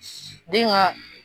Den ka